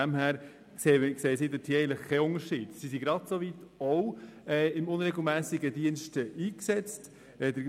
Sie sehen keine Unterschiede diesbezüglich, da auch sie im unregelmässigen Dienst eingesetzt werden.